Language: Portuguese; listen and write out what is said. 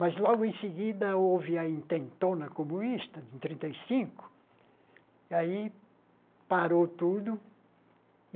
Mas, logo em seguida, houve a intentona comunista de trinta e cinco, e aí parou tudo.